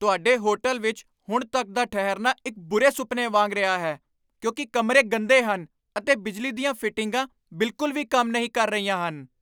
ਤੁਹਾਡੇ ਹੋਟਲ ਵਿੱਚ ਹੁਣ ਤੱਕ ਦਾ ਠਹਿਰਨਾ ਇੱਕ ਬੁਰੇ ਸੁਪਨੇ ਵਾਂਗ ਰਿਹਾ ਹੈ ਕਿਉਂਕਿ ਕਮਰੇ ਗੰਦੇ ਹਨ ਅਤੇ ਬਿਜਲੀ ਦੀਆਂ ਫਿਟਿੰਗਾਂ ਬਿਲਕੁਲ ਵੀ ਕੰਮ ਨਹੀਂ ਕਰ ਰਹੀਆਂ ਹਨ।